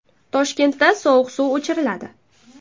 Toshkentda sovuq suv o‘chiriladi.